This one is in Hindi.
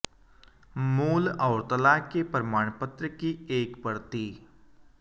मूल और तलाक के प्रमाण पत्र की एक प्रति